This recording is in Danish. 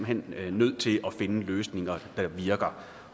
hen er nødt til at finde løsninger der virker